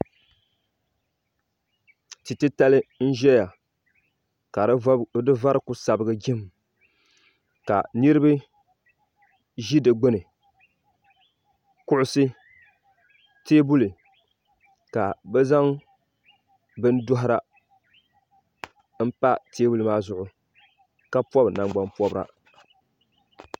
tia titali n ʒɛya ka di vari ku sabigi jim ka niraba ʒi di gbuni kuɣusi teebuli ka bi zaŋ bin dohara n pa teebuli maa zuɣu ka pobi nangbani pobira